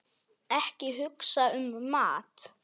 Ekki hugsa um mat!